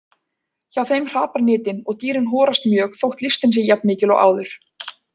Hjá þeim hrapar nytin og dýrin horast mjög þótt lystin sé jafn mikil og áður.